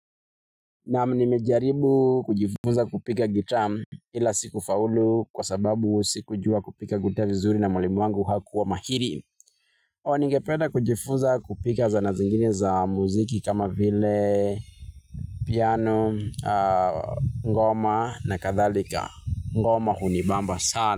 Naam, nimejaribu kujifunza kupiga gitaa ila sikufaulu kwa sababu sikujua kupiga gitaa vizuri na mwalimu wangu hakuwa mahiri. Nigependa kujifuza kupiga zana zingine za muziki kama vile piano, ngoma na kadhalika. Ngoma hunibamba sana.